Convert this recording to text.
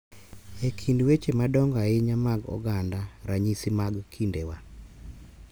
E kind weche madongo ahinya mag oganda ranyisi mag kindewa.